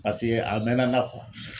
Paseke a mɛna na